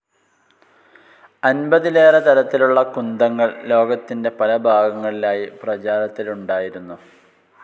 അൻപതിലേറെ തരത്തിലുള്ള കുന്തങ്ങൾ ലോകത്തിൻ്റെ പല ഭാഗങ്ങളിലായി പ്രചാരത്തിലുണ്ടായിരുന്നു.